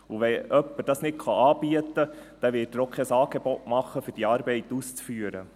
Und wenn jemand das nicht anbieten kann, dann wird er auch kein Angebot machen, um diese Arbeit auszuführen.